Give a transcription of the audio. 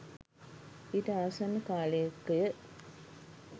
ඊට ආසන්න කාලයකය